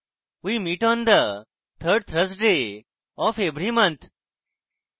we meet on the 3rd thursday of every month